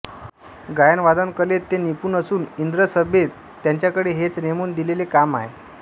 गायनवादन कलेत ते निपुण असून इंद्रसभेत त्यांच्याकडे हेच नेमून दिलेले काम आहे